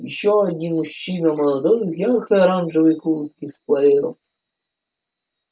ещё один мужчина молодой в яркой оранжевой куртке с плеером